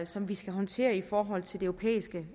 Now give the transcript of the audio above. som vi skal håndtere i forhold til det europæiske